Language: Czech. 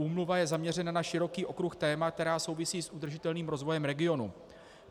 Úmluva je zaměřena na široký okruh témat, která souvisí s udržitelným rozvoje regionu.